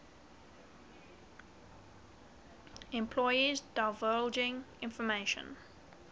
employees divulging information